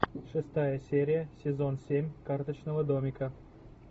шестая серия сезон семь карточного домика